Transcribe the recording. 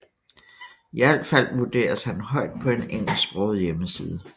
I alt fald vurderes han højt på en engelsksproget hjemmeside